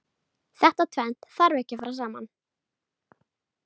Þetta tvennt þarf ekki að fara saman.